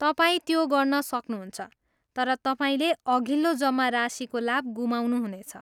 तपाईँ त्यो गर्न सक्नुहुन्छ, तर तपाईँले अघिल्लो जम्मा राशिको लाभ गुमाउनुहुनेछ।